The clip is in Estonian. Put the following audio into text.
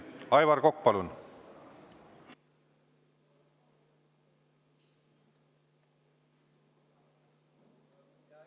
Aivar Kokk, palun!